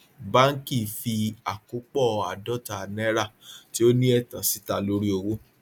báńkì fí àkópọ àádọta náírà tí ó ní ẹtan síta lórí owó